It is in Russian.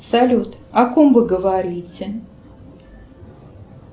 салют о ком вы говорите